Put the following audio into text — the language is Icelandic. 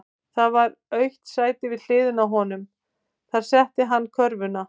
Það var autt sæti við hliðina á honum, þar setti hann körfuna.